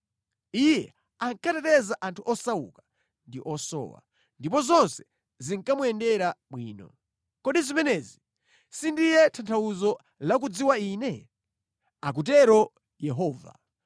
Iye ankateteza anthu osauka ndi osowa, ndipo zonse zinkamuyendera bwino. Kodi zimenezi sindiye tanthauzo la kudziwa Ine?” akutero Yehova.